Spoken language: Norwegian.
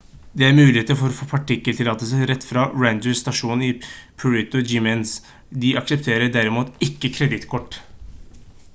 det er muligheter for å få parktillatelser rett fra ranger-stasjonen i puerto jiménez de aksepterer derimot ikke kredittkort